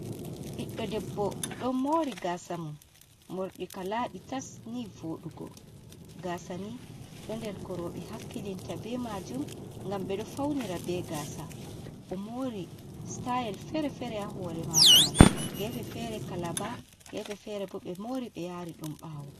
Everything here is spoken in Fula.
Ɓiɗɗo debbo ɗo mori gasa mum morɗi ka laɓi tas ni voɗugo. Gasa ni ɗo nder ko roɓe hakkilinta be majum ngam ɓeɗo faunira be gasa. Omori sitayel fere-fere ha hore mako mai; gefe fere kalaba, gefe fere bo ɓe mori ɓe yari ɗum ɓawo.